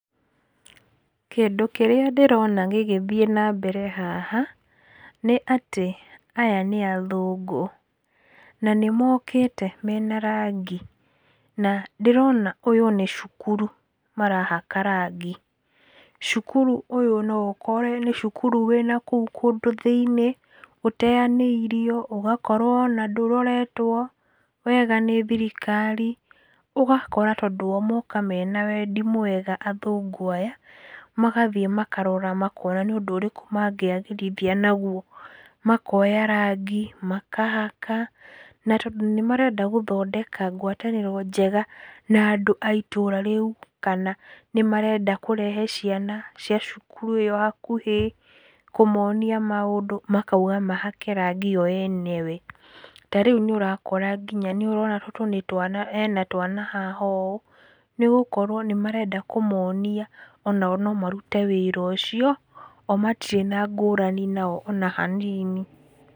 Kĩndũ kĩrĩa ndĩrona gĩgĩthiĩ na mbere haha, nĩ atĩ aya nĩ athũngũ na nĩ mokĩte mena rangi, na ndĩrona ũyũ nĩ cukuru marahaka rangi. Cukuru ũyũ no ũkore nĩ cukuru wĩna kũu kũndũ thĩiniĩ, ũteanĩirio, ũgakorwo ona ndũroretwo wega nĩ thirikari, ũgakora tondũ o moka me na wendi mwega athũngũ aya, magathiĩ makarora makona nĩ ũndũ ũrĩkũ mangĩagĩrithia naguo, makoya rangi makahaka na tondũ nĩmarenda gũthondeka gwatanĩro njega na andũ a itũra rĩu, kana nĩ marenda kũrehe ciana cia cukuru ĩo hakuhĩ kũmonia kũmonia maũndũ, makauga mahake rangi o enyewe. Ta rĩu nĩũrakora nginya, nĩũrona tũtũ nĩ twana ena twana haha ũũ, nĩgũkorwo nĩ marenda kũmonia o nao no marute wĩra ũcio, o matirĩ ngũrani nao ona hanini.